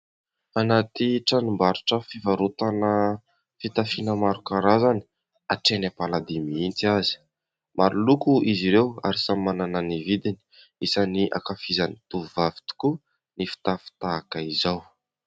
Anaty tranombarotra fivarotana fitafiana maro karazany hatrany am-paladia mihitsy aza. Maro loko izy ireo ary samy manana ny vidiny. Isan'ny ankafizin'ny tovovavy tokoa ny fitafy tahaka izao.